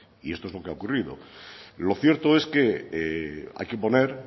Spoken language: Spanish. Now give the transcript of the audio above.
y esto es lo que ha ocurrido lo cierto es que hay que poner